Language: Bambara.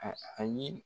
A a ye